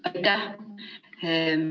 Aitäh!